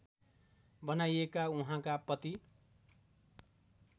बनाइएका उहाँका पति